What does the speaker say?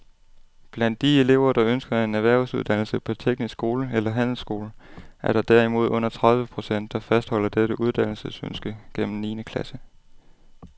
Blandt de elever, der ønsker en erhvervsuddannelse på teknisk skole eller handelsskole, er der derimod under tredive procent, der fastholder dette uddannelsesønske gennem niende klasse.